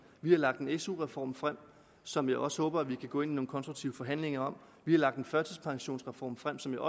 vi har lagt en su reform frem som jeg også håber at vi kan gå ind i nogle konstruktive forhandlinger om vi har lagt en førtidspensionsreform frem som jeg